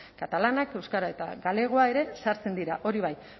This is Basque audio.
katalana euskara eta galegoa ere sartzen dira hori bai